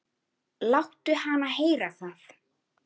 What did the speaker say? Láttu hana heyra það